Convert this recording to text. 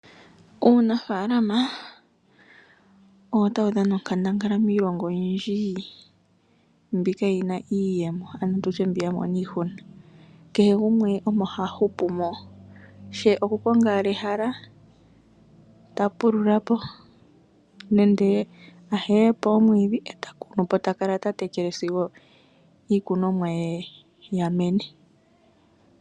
Uunafalama owo ta wu dhana onkandangala miilongo oyindji mbi kaayi na iiyemo ano tutye mbi ya mona iihuna, kehe gumwe omo ha hupu mo, she okukonga owala ehala ta pululapo nenge a heyepo omwiidhi e taya kunupo ye tala tatekele sigo iikunomwa ye ya mene.